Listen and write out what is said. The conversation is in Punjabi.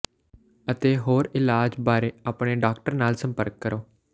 ਅਤੇ ਹੋਰ ਇਲਾਜ ਬਾਰੇ ਆਪਣੇ ਡਾਕਟਰ ਨਾਲ ਸੰਪਰਕ ਕਰੋ